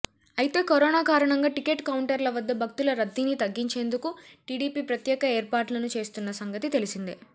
అయితే కరోనా కారణంగా టికెట్ కౌంటర్ల వద్ద భక్తుల రద్దీని తగ్గించేందుకు టీడీపీ ప్రత్యేక ఏర్పాట్లను చేస్తున్న సంగతి తెలిసిందే